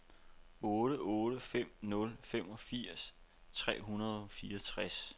otte otte fem nul femogfirs tre hundrede og fireogtres